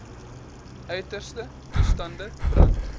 uiterste toestande brand